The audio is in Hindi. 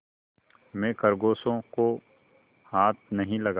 मैं खरगोशों को हाथ नहीं लगाता